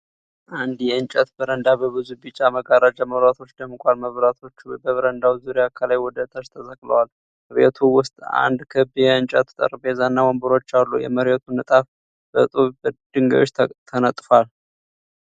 አንድ የእንጨት በረንዳ በብዙ ቢጫ መጋረጃ መብራቶች ደምቋል። መብራቶቹ በበረንዳው ዙሪያ ከላይ ወደ ታች ተሰቅለዋል። በቤቱ ውስጥ አንድ ክብ የእንጨት ጠረጴዛና ወንበሮች አሉ። የመሬቱ ንጣፍ በጡብ ድንጋዮች ተነጥፏል።